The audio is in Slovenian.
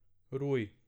Ruj.